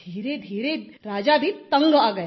धीरेधीरे राजा भी तंग आ गए